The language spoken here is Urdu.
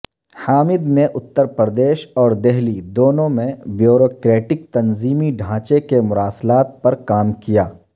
حامد نے اترپردیش اور دہلی دونوں میں بیوروکریٹک تنظیمی ڈھانچے کے مراسلات پر کام کیا